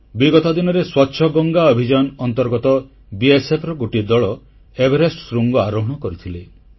ବିଗତ ଦିନରେ ସ୍ୱଚ୍ଛ ଗଙ୍ଗା ଅଭିଯାନ ଅନ୍ତର୍ଗତ ଈଝୠର ଗୋଟିଏ ଦଳ ଏଭେରେଷ୍ଟ ଶୃଙ୍ଗ ଆରୋହଣ କରିଥିଲେ